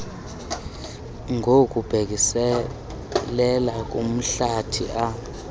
ngokubhekiselele kumhlathi a